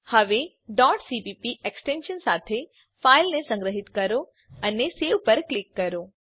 હવે cpp extension સાથે ફાઈલને સંગ્રહીત કરો અને સવે પર ક્લિક કરો